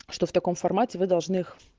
что в таком формате вы должны их